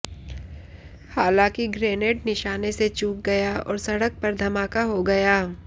हालांकि ग्रेनेड निशाने से चूक गया और सड़क पर धमाका हो गया